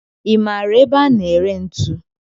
I maara ebe a na-ere ntu?